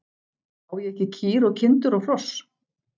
Á ég ekki kýr og kindur og hross?